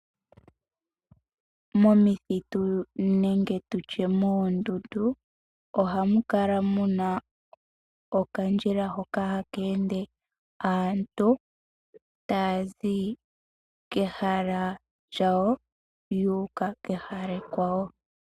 Momithitu nenge tutye moondundu, ohamukala muna okandjila hoka hakeende aantu taazi kehala lyawo yuuka kehala ekwawo.